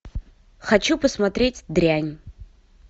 хочу посмотреть дрянь